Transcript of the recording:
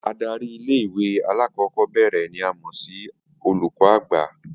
Adari ilé ìwé alákò̩ó̩bè̩rè̩ ni a mò̩ sí olùkó̩ àgbà